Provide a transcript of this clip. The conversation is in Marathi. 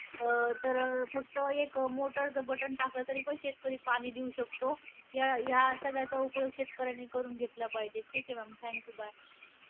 अं तर फक्त एक motor चं button टाकलं, तरीपण शेतकरी पाणी देऊ शकतो. या या सगळ्यांचा उपयोग शेतकऱ्यांनी करून घेतला पाहिजे. ठीक आहे ma'am thank you bye.